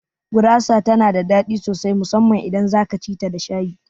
Gurasa tana da daɗi sosai musamman idan zaka cita da shayi